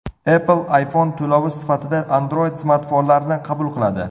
Apple iPhone to‘lovi sifatida Android-smartfonlarni qabul qiladi.